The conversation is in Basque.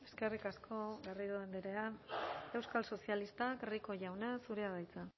eskerrik asko garrido andrea euskal sozialistak rico jauna zurea da hitza